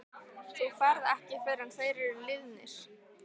Þú ferð ekki fyrr en þeir eru liðnir.